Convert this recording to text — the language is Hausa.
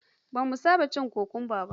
Ba mu saba cin kwakumba ba.